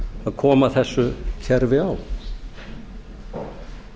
að koma þessu kerfi á